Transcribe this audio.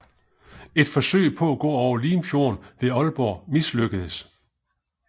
Et forsøg på at gå over Limfjorden ved Aalborg mislykkedes